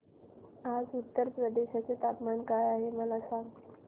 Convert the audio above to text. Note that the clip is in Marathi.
आज उत्तर प्रदेश चे तापमान काय आहे मला सांगा